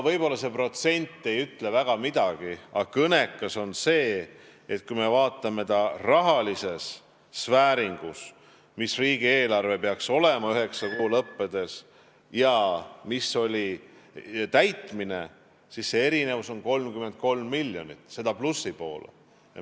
Võib-olla see protsent ei ütle väga midagi, aga kõnekas on see, et kui me vaatame rahalises vääringus seda, kui palju peaks riigieelarves raha olema üheksa kuu lõppedes, ja seda, milline oli täitumine, siis näeme, et erinevus on 33 miljonit, seda plusspoolel.